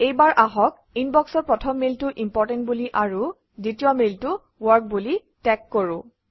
এইবাৰ আহক ইনবক্সৰ প্ৰথম মেইলটো ইম্পৰ্টেণ্ট বুলি আৰু দ্বিতীয় মেইলটো ৱৰ্ক বুলি টেগ কৰোঁ